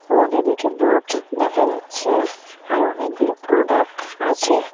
তোয়ালে নীচে বোর্ড দেখা যাচ্ছে আরও অনেকগুলি প্রোডাক্ট আছে।